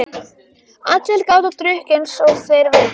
Allir gátu drukkið einsog þeir vildu.